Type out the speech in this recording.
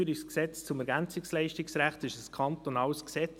Das EG ELG ist ein kantonales Gesetz.